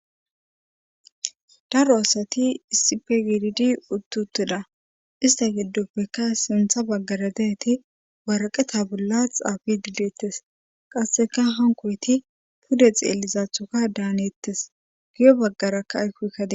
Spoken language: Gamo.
daro asati issipe gididi uttutida ista giddoppekka sintha baggara deeti waraqeta bolla xaafidi deetes qasseka hankoyti pude xeellizaathoka daaneettes giyo baggarakka aykoykkade